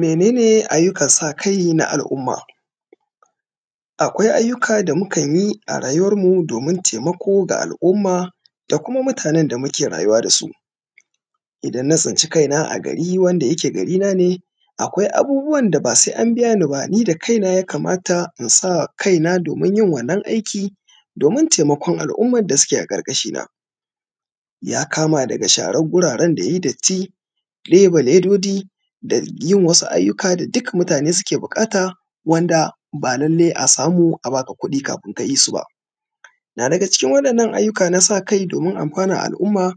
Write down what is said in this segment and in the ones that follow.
Mene ne ayyukan sa kai na al’umma? Akwai ayyukan da mukanyi a rayuwarmu domin taimako ga al’umma da kuma mutanen da muke rayuwa dasu. Idan na tsinci kaina a gari wanda yake garina ne akwai abubuwan da ba sai an biyani ba ni da kaina ya kamata in sa kaina domin yin wannan aiki domin taimakon al’umman da suke a ƙarƙashina. Ya kama daga sharan guraren da ya yi datti ɗebe lodoji, da yin wasu ayyuka da duk mutane suke buƙata wanda ba lalle a samu a baka kuɗi kafin kayi su ba. Naga cikin wa’innan ayyuka na sa kai domin amfanan al’umma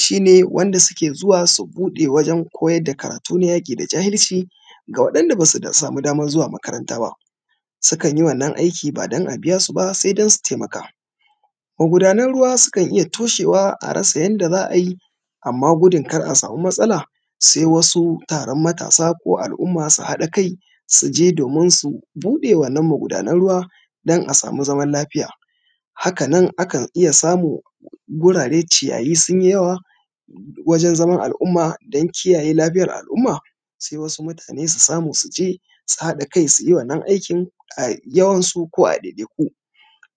shi ne wanda suke zuwa su buɗe wajen koyar da karatu na yaƙi da jahilci ga waɗan da basu samu damar zuwa makaranta ba, sukan yi wannan aiki ba don a biyasu ba sai don su taimaka. Maguda nan ruwa sukan iya toshewa a rasa yanda za a yi amma gudun kar a samu matsala sai wasu taron matasa ko al’umma su haka kai su je domin su buɗe wannan magunan ruwa don a samu zaman lafiya. Haka nan akan iya samun gurare ciyayi sun yi yawa wajen zaman al’umma don kiyayye lafiyar al’umma sai wasu mutane su samu su je su haɗa kai su yi wannan aikin a yawansu ko a ɗaiɗaiku,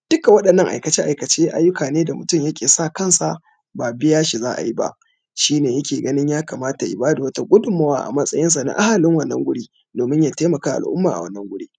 duka waɗannan aikace aikace ayyukane da mutum yakan sa kansa ba biya shi za a yi ba shi ne ya ke ganin ya kamata ya bada wata gummuwa a matsayinsa na ahalin wannan wuri, domin ya taimakawa al’umma a wannan wuri.